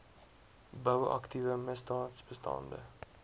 bou aktiewe misdaadbestande